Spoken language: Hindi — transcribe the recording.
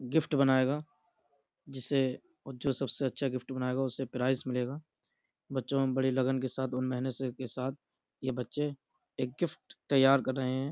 गिफ्ट बनाएगा। जिसे और जो सबसे अच्छा गिफ्ट बनाएगा उसे प्राइस मिलेगा। बच्चो ने बड़ी लगन के साथ और मेहनत से के साथ ये बच्चे एक गिफ्ट तैयार कर रहे है।